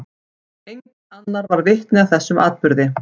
Enginn annar varð vitni að þessum atburði.